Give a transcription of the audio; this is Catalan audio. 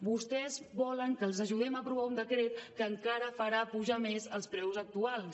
vostès volen que els ajudem a aprovar un decret que encara farà pujar més els preus actuals